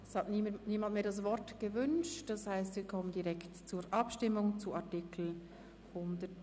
Es wünscht niemand mehr das Wort, das heisst, wir kommen zur Abstimmung zu Artikel 137.